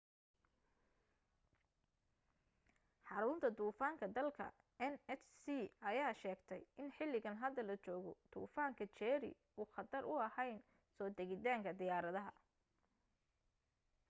xaruunta duufaanka dalka nhc ayaa sheegtay in xiligan hadda la joogo duufaanka jerry uu khatar u ahayn soo degitaanka diyaaradaha